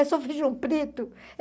É só feijão preto.